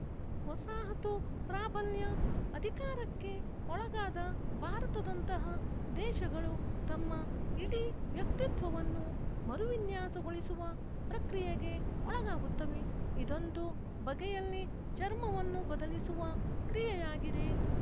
ವಸಾಹತು ಪ್ರಾಬಲ್ಯ ಅಧಿಕಾರಕ್ಕೆ ಒಳಗಾದ ಭಾರತದಂತಹ ದೇಶಗಳು ತಮ್ಮ ಇಡೀ ವ್ಯಕ್ತಿತ್ವವನ್ನು ಮರುವಿನ್ಯಾಸಗೊಳಿಸುವ ಪ್ರಕ್ರಿಯೆಗೆ ಒಳಗಾಗುತ್ತವೆ ಇದೊಂದು ಬಗೆಯಲ್ಲಿ ಚರ್ಮವನ್ನು ಬದಲಿಸುವ ಕ್ರಿಯೆಯಾಗಿದೆ